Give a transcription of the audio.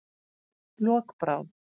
Lokbrá